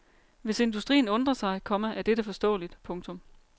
Hvis industrien undrer sig, komma er dette forståeligt. punktum